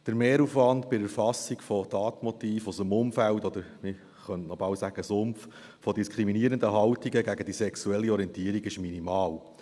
Der Mehraufwand bei der Erfassung von Tatmotiven aus dem Umfeld, oder man könnte bald sagen Sumpf, von diskriminierenden Haltungen gegen die sexuelle Orientierung, ist minimal.